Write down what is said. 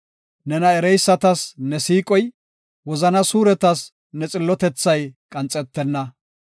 Nena ereysatas ne siiqoy, wozana suuretas ne xillotethay qanxetenna.